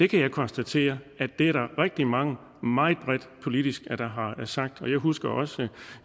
kan konstatere at det er der er rigtig mange der meget bredt politisk har sagt og jeg husker også